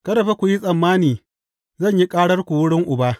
Kada fa ku yi tsammani zan yi ƙararku wurin Uba.